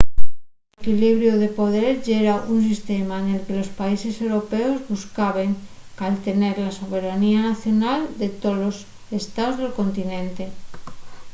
l’equlibiru de poder yera un sistema nel que los países europeos buscaben caltener la soberanía nacional de tolos estaos del continente